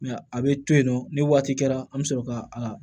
a bɛ to yen nɔ ni waati kɛra an bɛ sɔrɔ ka a